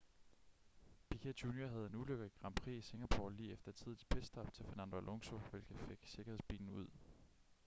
piquet jr havde en ulykke i grand prix i singapore lige efter et tidligt pitstop til fernando alonso hvilket fik sikkerhedsbilen ud